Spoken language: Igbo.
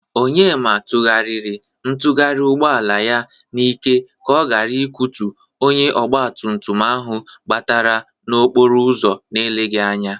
Onyema tụgharïrị ntugharị ugbọala ya n'ike ka ọ gara ikotu onye ọgbatụmtụm ahụ gbabatara n'okporo ụzọ n'eleghi anya.